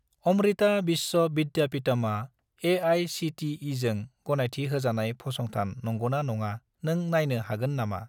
अमृता विश्व विद्यापिटमआ ए.आइ.सि.टि.इ.जों गनायथि होजानाय फसंथान नंगौना नङा नों नायनो हागोन नामा?